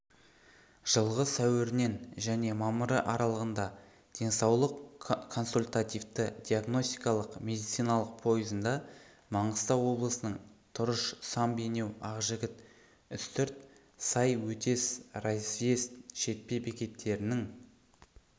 жылғы сәуірінен және мамыры аралығында денсаулық консультативті-диагностикалық медициналық пойызында маңғыстау облысының тұрыш сам бейнеу ақжігіт үстірт сай өтес разъезд шетпе бекеттерінің